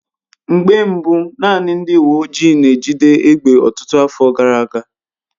Mgbe mbu naanị ndị uwe ojii n'ejide egbe ọtụtụ afọ gara aga.